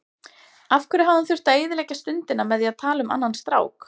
Af hverju hafði hún þurft að eyðileggja stundina með því að tala um annan strák.